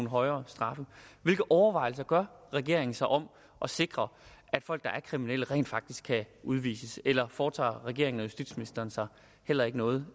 højere straffe hvilke overvejelser gør regeringen sig om at sikre at folk der er kriminelle rent faktisk kan udvises eller foretager regeringen og justitsministeren sig heller ikke noget